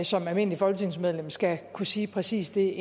som almindeligt folketingsmedlem altid skal kunne sige præcis det